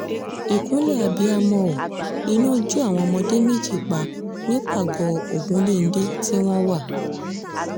ìkúnlẹ̀ abiyamọ ò iná jó àwọn ọmọdé méjì pa nípàgọ́ ogunléndé tí wọ́n wà